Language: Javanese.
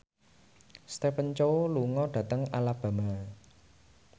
Stephen Chow lunga dhateng Alabama